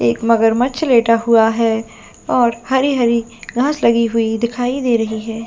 एक मगरमच्छ लेटा हुआ है और हरी -हरी घास लगी हुई दिखाई दे रही है।